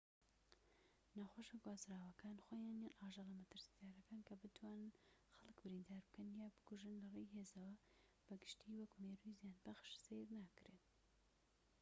نەخۆشیە گوازراوەکان خۆیان یان ئاژەڵە مەترسیدارەکان کە بتوانن خەڵك بریندار بکەن یان بکوژن لەڕێی هێزەوە بە گشتیی وەکو مێرووی زیانبەخش سەیر ناکرێن